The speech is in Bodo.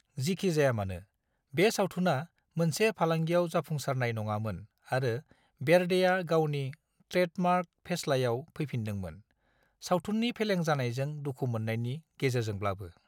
जिखिजायामानो, बे सावथुना मोनसे फालांगियाव जाफुंसारनाय नङामोन आरो बेर्डेआ गावनि ट्रेडमार्क फेस्लायाव फैफिनदोंमोन, सावथुन्नि फेलें जानायजों दुखु मोन्नायनि गेजेरजोंब्लाबो।